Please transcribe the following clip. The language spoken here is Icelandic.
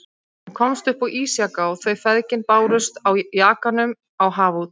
Hann komst upp á ísjaka og þau feðgin bárust á jakanum á haf út.